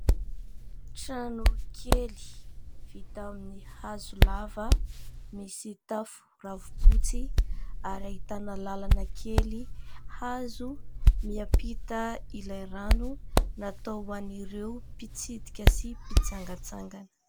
Trano kely vita amin'ny hazo lava misy tafo ravim-potsy ary ahitana lalana kely hazo miampita ilay rano, natao ho an'ireo mpitsidika sy mpitsangatsangana.